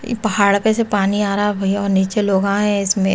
ये पहाड़ पे से पानी आ रहा और भैया और नीचे लोगा हैं इसमें।